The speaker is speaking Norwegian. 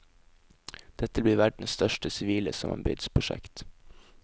Dette blir verden største sivile samarbeidsprosjekt.